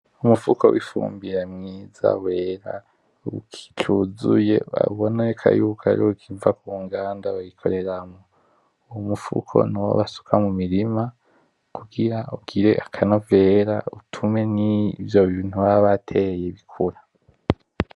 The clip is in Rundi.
Umufuko wifubire mwiza wera ukicuzuye uraboneka yuko ukimva kuruganda bayikoreramwo ,umufuko nuwo basuka mumirima kugira ugire akanovera kugira nivyo bintu bambateye bikura.